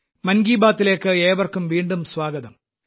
മൻ കി ബാത്തിലേയ്ക്ക് ഏവർക്കും വീണ്ടും സ്വാഗതം